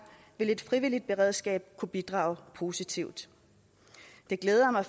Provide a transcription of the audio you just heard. vil et frivilligt beredskab kunne bidrage positivt det glæder mig